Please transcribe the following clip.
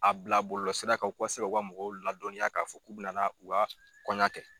A bila bɔlɔsira kan u ka se k'u ka mɔgɔw ladɔnya k'a fɔ k'u bɛ u ka kɔɲɔ kɛ.